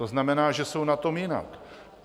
To znamená, že jsou na tom jinak.